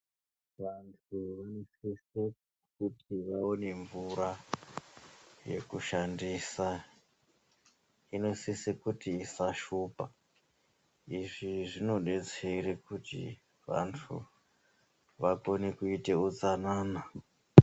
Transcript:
Vantu vanosise kuti vaone mvura yekushandisa. Inosisa kuti isashupa. Izvi zvinodetsera kuti vantu vakone kuite utsanana.